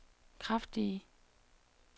kraftige